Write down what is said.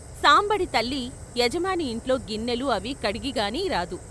సాంబడి తల్లి యజమాని యింట్లో గిన్నెలు అవీ కడిగిగాని రాదు.